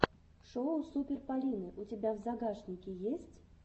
шоу супер полины у тебя в загашнике есть